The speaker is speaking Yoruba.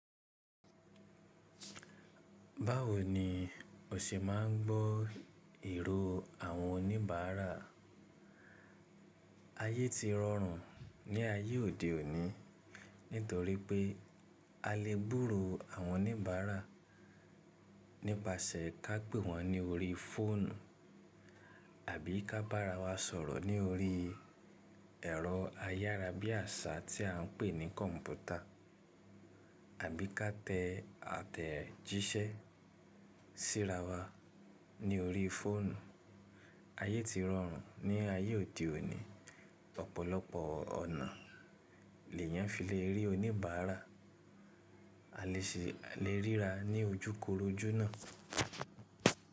Báwo ni o ṣe máa ń gbọ́ ìró àwọn oníbàárà? Ayé ti rọrùn ní ayé òde òní nítorí pé a lè gbúro àwọn oníbàárà nípasẹ̀ ká pè wọ́n ní orí fóònù àbí ká bára wa sọ̀rọ̀ ní orí ẹ̀rọ ayárábiàsà tí à ń pè ní kọ̀ǹpútà àbí ká tẹ àtẹ̀jíṣẹ́ síra wa ní orí fóònù. Ayé ti rọrùn ní ayé òde òní. Ọ̀pọ̀lọpọ̀ ọ̀nà l'èyàn fi lè rí oníbàárà. A lè ṣe a lè ríra ní ojú korojú náà.